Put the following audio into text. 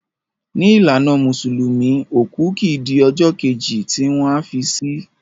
Ni ìlànà musulumi òkú kìí di ọjọ́ Kejì tí wọ́n a fi si